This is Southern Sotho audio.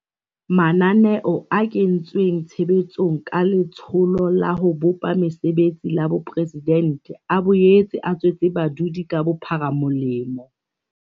Mananeo a kentsweng tshe betsong ka Letsholo la ho Bopa Mesebetsi la Boporesidente a boetse a tswetse badudi ka bophara molemo.